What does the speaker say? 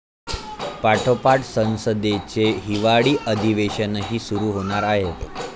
पाठोपाठ संसदेचे हिवाळी अधिवेशनही सुरू होणार आहे.